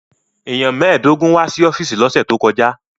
Èèyàn mẹ́ẹ̀ẹ́dógún wá sí ọ́fíìsì lọ́sẹ̀ tó kọjá